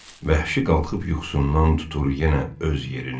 Vəhşi qalxıb yuxusundan tutur yenə öz yerini.